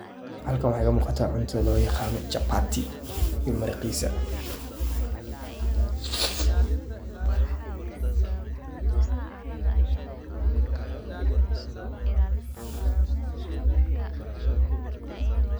Halkan waxaa iiga muuqataa cunto loo yaqaano chabati iyo maraqiisa.